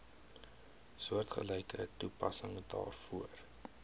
soortgelyke toepassing daarvoor